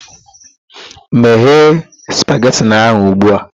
Meghe spageti ahụ ugbu a!